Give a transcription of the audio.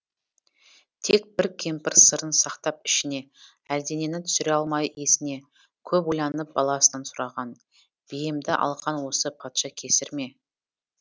тек бір кемпір сырын сақтап ішіне әлденені түсіре алмай есіне көп ойланып баласынан сұраған биемді алған осы патша кесір ме